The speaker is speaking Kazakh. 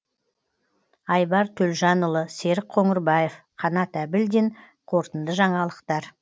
айбар төлжанұлы серік қоңырбаев қанат әбілдин қорытынды жаңалықтар